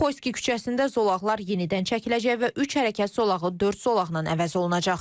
Xoyski küçəsində zolaqlar yenidən çəkiləcək və üç hərəkət zolağı dörd zolaqla əvəz olunacaq.